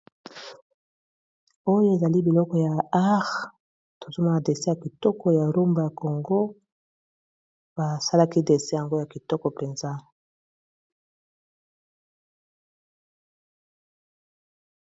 Oyo ezali biloko ya art tozoma ba dessin ya kitoko ya rumba ya congo basalaki dessin yango ya kitoko mpenza.